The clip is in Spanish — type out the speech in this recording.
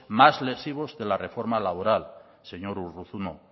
más lesivos de la reforma laboral señor urruzuno